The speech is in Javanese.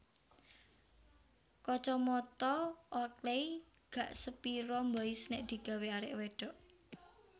Kacamata Oakley gak sepiro mbois nek digawe arek wedhok